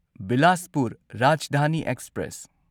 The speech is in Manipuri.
ꯕꯤꯂꯥꯁꯄꯨꯔ ꯔꯥꯖꯙꯥꯅꯤ ꯑꯦꯛꯁꯄ꯭ꯔꯦꯁ